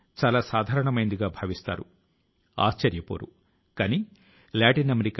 ప్రతిసారి మాదిరిగానే చాలా మంది వ్యక్తుల సందేశాల లో ఒక అంశం ఉంది